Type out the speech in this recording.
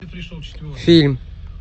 фильм